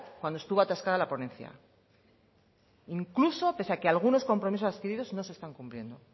cuando estuvo atascada la ponencia incluso a pesar de que algunos compromisos adquiridos no se están cumpliendo